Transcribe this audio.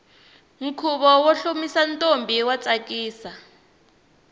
khuvo wo hlomisa ntombi wa tsakisa